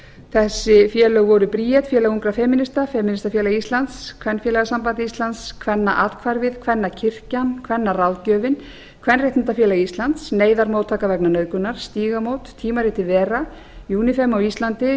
þessi félög voru bríet félag ungra femínista femínistafélag íslands kvenfélagasamband íslands kvennaathvarfið kvennakirkjan kvennaráðgjöfin kvenréttindafélag íslands neyðarmóttaka vegna nauðgunar stígamót tímaritið vera unifem á íslandi